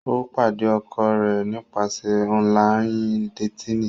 O pade ọkọ rẹ nipasẹ ọnlayin-detini.